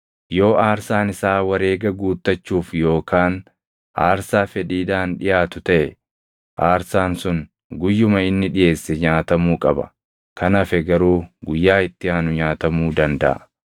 “ ‘Yoo aarsaan isaa wareega guuttachuuf yookaan aarsaa fedhiidhaan dhiʼaatu taʼe, aarsaan sun guyyuma inni dhiʼeesse nyaatamuu qaba; kan hafe garuu guyyaa itti aanu nyaatamuu dandaʼa.